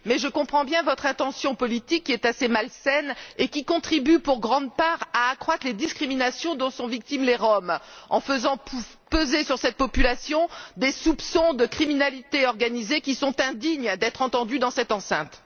Mais je comprends bien votre intention politique qui est assez malsaine et contribue, pour une grande part, à accroître les discriminations dont sont victimes les Roms, en faisant peser sur cette population des soupçons de criminalité organisée, qui sont indignes d'être entendus dans cette enceinte.